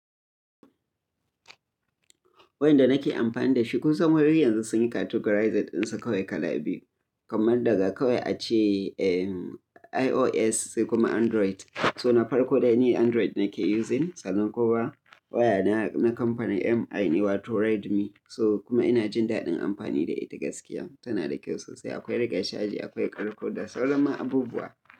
Wayan da nake amfani da shi, kun san wayoyin yanzu sun yi categorizing dinsa kawai kala biyu, kamar daga kawai ace, eh, iOS sai kuma Android. So na farko dai ni Android nake using sannan kuma waya na, na kamfani MI ne wato Redmi. So kuma ina jin daɗin amfani da ita gaskiya. Tana da kyau sosai. Akwai rike chaji, akwai karko da sauran ma abubuwa.